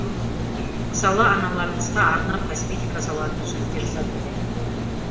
мысалы аналарымызға арнап косметика салатын сөмке жасадық